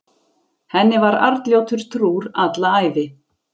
Henni var Arnljótur trúr alla ævi.